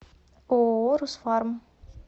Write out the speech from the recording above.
ооо русфарм